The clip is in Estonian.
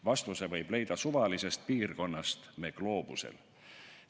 Vastuse võib leida suvalisest piirkonnast me gloobusel.